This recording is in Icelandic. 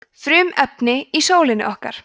frumefnin í sólinni okkar